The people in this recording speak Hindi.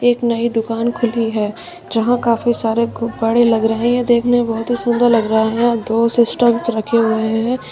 एक नई दुकान खुली है जहां काफी सारे गुब्बाड़े लग रहे हैं ये देखने में बहोत ही सुंदर लग रहा हैं दो सिस्टम रखे हुए हैं।